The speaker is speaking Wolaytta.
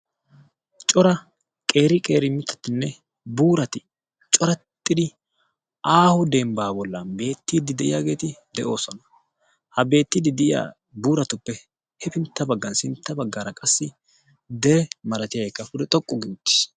cora qeeri qeeri mitatinne buurati corattidi aahu dembbaa bollan beettiiddi de'iyaageeti de'oosona. ha beettiddi de'iya buuratuppe hefintta baggan sintta baggaara qassi dere malatiyaabatikka pude xoqqu gi uttiis